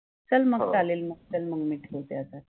चल मग चालेल मग, हो, चल मग मि ठेवते आता